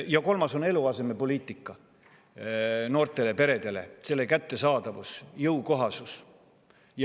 Ja kolmas on eluasemepoliitika, noortele peredele eluaseme kättesaadavus ja jõukohasus.